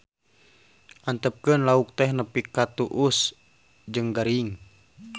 Antepkeun lauk teh nepi ka tuus jeung garing